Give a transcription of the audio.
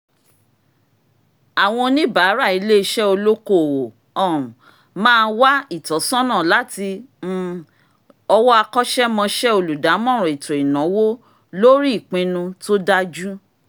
àwọn oníbàárà iléeṣé olókoòwò um máa wá ìtọ́sọ́nà láti um ọwọ́ akọ́ṣẹ́mọṣẹ́ olùdámọ̀ràn ètò ìnáwó lórí ìpinu tó dájú